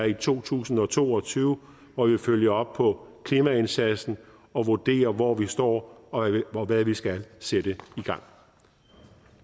i to tusind og to og tyve hvor vi følger op på klimaindsatsen og vurderer hvor vi står og hvad vi skal sætte i gang